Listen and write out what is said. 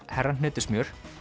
herra hnetusmjör